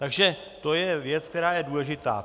Takže to je věc, která je důležitá.